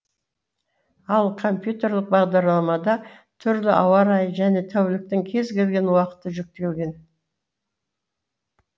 ал компьютерлік бағдарламада түрлі ауа райы және тәуліктің кез келген уақыты жүктелген